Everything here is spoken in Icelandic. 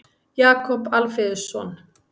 Jakob Alfeusson.